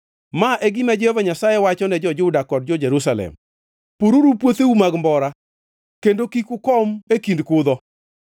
Ma e gima Jehova Nyasaye wachone jo-Juda kod Jerusalem: “Pururu puotheu mag mbora kendo kik ukom e kind kuthe.